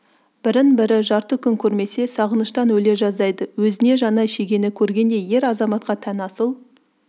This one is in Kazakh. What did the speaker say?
бірін-бірі жарты күн көрмесе сағыныштан өле жаздайды өзіне жаңа шегені көргендей ер-азаматқа тән асыл